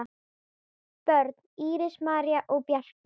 Börn: Íris, María og Bjarki.